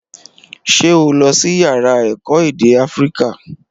Ṣé o lọsí yàrá èkó èdè áfíríkà?